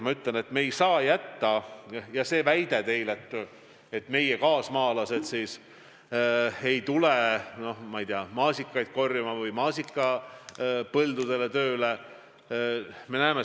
Te väidate, et meie kaasmaalased ei lähe, ma ei tea, maasikaid korjama või maasikapõldudele muud tööd tegema.